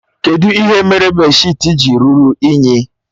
Kedụ ihe mere bèdshịtị ji ruru unyi?